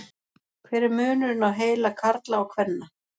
hver er munurinn á heila karla og kvenna